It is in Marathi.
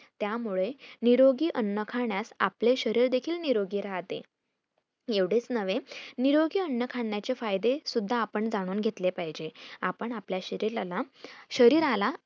त्या मुळे निरोगी अन्न खाण्यास आपले शरीर देखील निरोगी राहते एवढेच नव्हे निरोगी अन्न खाण्याचे फायदे सुद्धा आपण जाणून घेतले पाहिजे आपण आपल्या शरीलाला शरीराला